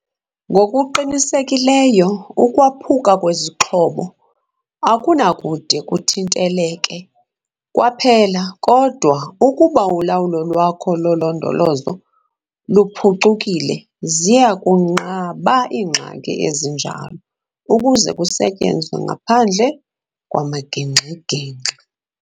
Ngokuqinisekileyo, ukwaphuka kwezixhobo akunakude kuthinteleke kwaphela, kodwa ukuba ulawulo lwakho lolondolozo luphucukile, ziya kunqaba iingxaki ezinjalo ukuze kusetyenzwe ngaphandle kwamagingxi-gingxi.